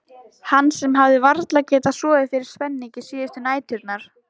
Hann sem hafði varla getað sofið fyrir spenningi síðustu næturnar.